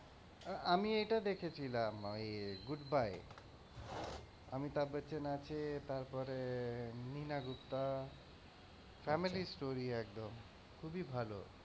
আমি এটা দেখেছিলাম ওই goodbye অমিতাভ বচ্চন আছে তারপরে নীনা গুপ্তা family story একদম খুবই ভালো,